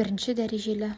бірінші дәрежелі